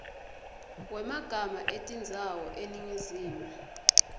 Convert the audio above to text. wemagama etindzawo eningizimu